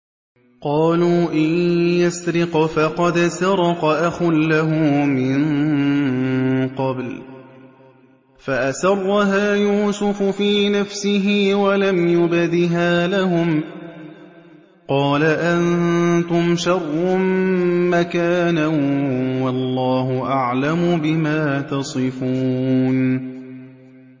۞ قَالُوا إِن يَسْرِقْ فَقَدْ سَرَقَ أَخٌ لَّهُ مِن قَبْلُ ۚ فَأَسَرَّهَا يُوسُفُ فِي نَفْسِهِ وَلَمْ يُبْدِهَا لَهُمْ ۚ قَالَ أَنتُمْ شَرٌّ مَّكَانًا ۖ وَاللَّهُ أَعْلَمُ بِمَا تَصِفُونَ